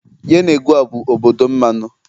Yenegoa bụ obodo mmanụ.